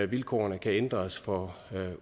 vilkårene kan ændres for